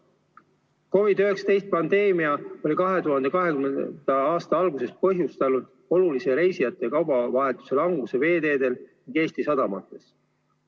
COVID-19 pandeemia oli 2020. aasta alguses põhjustanud olulise reisijate ja kaubavahetuse languse veeteedel ja Eesti sadamates.